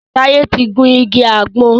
Taye tí ń gún ìgi àgbon.